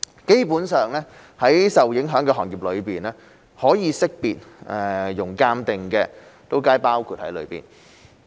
基本上，在受影響的行業裏，可識別、容鑒定的皆包括在內。